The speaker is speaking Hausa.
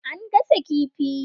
An gasa kifi.